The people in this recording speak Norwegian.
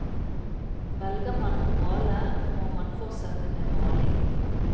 Velger man å male, må man fortsette med maling.